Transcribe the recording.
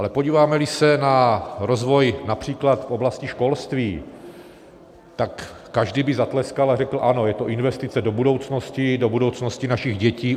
Ale podíváme-li se rozvoj například v oblasti školství, tak každý by zatleskal a řekl: ano, je to investice do budoucnosti, do budoucnosti našich dětí.